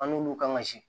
An n'olu kan ka si